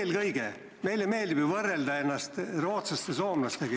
Eelkõige meile meeldib ju võrrelda ennast rootslaste ja soomlastega.